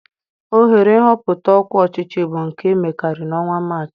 Ohere nhọpụta ọkwá ọchịchị bụ nke a emekarị na ọnwa Maachị.